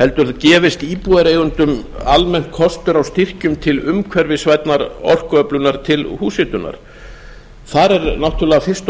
heldur gefist íbúðareigendum almennt kostur á styrkjum til umhverfisvænnar orkuöflunar til húshitunar þar er náttúrlega fyrst og